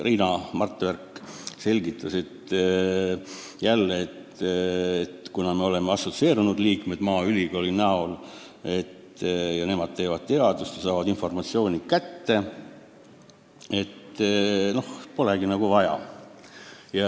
Riina Martverk selgitas jälle, et kuna meie maaülikool on assotsieerunud liige, teeb teadust ja saab informatsiooni kätte, siis polegi nagu enamat vaja.